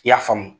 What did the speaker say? I y'a faamu